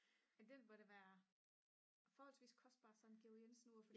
jamen det må da være forholdsvist kostbart sådan et Georg Jensen ur